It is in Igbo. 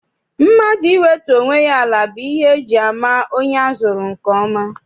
Mmadụ iwetu onwe ya ala bụ ihe eji ama onye azụrụ nke ọma.